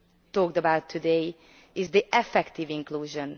talked about today is effective inclusion.